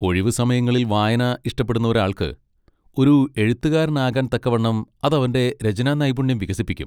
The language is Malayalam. ഒഴിവുസമയങ്ങളിൽ വായന ഇഷ്ടപ്പെടുന്ന ഒരാൾക്ക്, ഒരു എഴുത്തുകാരനാകാൻ തക്കവണ്ണം അതവന്റെ രചനാനൈപുണ്യം വികസിപ്പിക്കും.